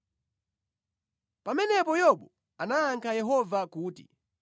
Pamenepo Yobu anayankha Yehova kuti,